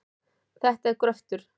Þetta er gröftur.